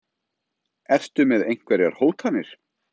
Ertu með einhverjar hótanir?